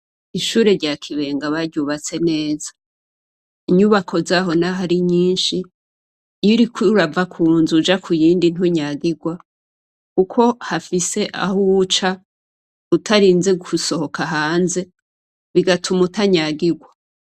Ishure rya Kibenga baryubatse neza, inyubako zabo naho ari nyinshi iyo uriko urava ku nzu uja kuyindi ntunyagirwa kuko hafise aho uca utarinze gusohoka hanze bigatuma utanyagirwa.